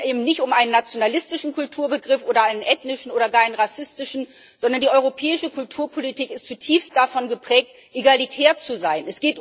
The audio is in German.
Es geht eben nicht um einen nationalistischen Kulturbegriff oder einen ethnischen oder gar einen rassistischen, sondern die europäische Kulturpolitik ist zutiefst davon geprägt, egalitär zu sein.